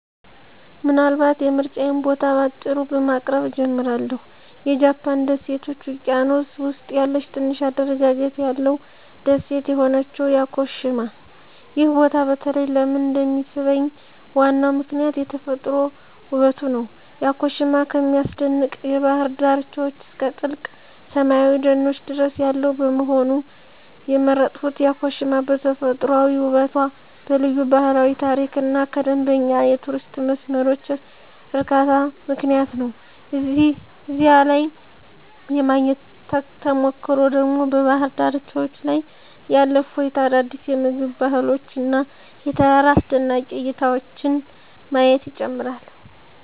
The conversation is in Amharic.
ምናልባት የምርጫዬን ቦታ በአጭሩ በማቅረብ እጀምራለሁ -የጃፓን ደሴቶች ውቅያኖስ ውስጥ ያለ ትንሽ አደረጃጀት ያለው ደሴት የሆነችው ያኮሺማ። ይህ ቦታ በተለይ ለምን እንደሚሳብኝ ዋናው ምክንያት የተፈጥሮ ውበቱ ነው። ያኮሺማ ከሚያስደንቅ የባህር ዳርቻዎች እስከ ጥልቅ ሰላማዊ ደኖች ድረስ ያለው በመሆኑ። የመረጥኩት ያኮሺማ በተፈጥሯዊ ውበቷ፣ በልዩ ባህላዊ ታሪክ እና ከመደበኛ የቱሪስት መስመሮች ርቃታ ምክንያት ነው። እዚያ ላይ የማግኘት ተሞክሮ ደግሞ በባህር ዳርቻዎች ላይ ያለ እፎይታ፣ አዳዲስ የምግብ ባህሎች እና የተራራ አስደናቂ እይታዎችን ማየት ይጨምራል።